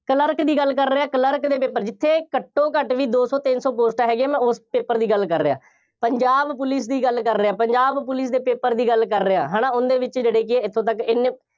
clerk ਦੀ ਗੱਲ ਕਰ ਰਿਹਾਂ, ਕਲਰਕ ਦੇ clerk, ਜਿੱਥੇ ਘੱਟੋਂ ਘੱਟ ਬਈ ਦੋ ਸੌ, ਤਿੰਨ ਸੌ ਪੋਸਟਾਂ ਹੈਗੀਆਂ, ਮੈਂ ਉਸ paper ਦੀ ਗੱਲ ਕਰ ਰਿਹਾਂ, ਪੰਜਾਬ ਪੁਲਿਸ ਦੀ ਗੱਲ ਕਰ ਰਿਹਾਂ। ਪੰਜਾਬ ਪੁਲਿਸ ਦੇ paper ਦੀ ਗੱਲ ਕਰ ਰਿਹਾਂ, ਹੈ ਨਾ, ਉਹਦੇ ਵਿੱਚ ਜਿਹੜੇ ਕਿ ਇੱਥੋ ਤੱਕ ਐਨੇ